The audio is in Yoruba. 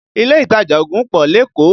Ilé ìtajà ògùn pọ̀ lékòó